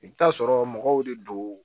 I bɛ t'a sɔrɔ mɔgɔw de don